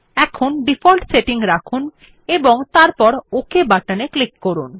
তাই default setting রাখুন এবং তারপর ওক বাটনে ক্লিক করুন